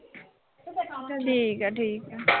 ਠੀਕ ਆ-ਠੀਕ ਆ